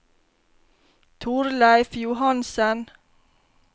Torleif Johansen